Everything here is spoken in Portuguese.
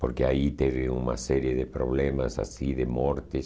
Porque aí teve uma série de problemas assim, de mortes.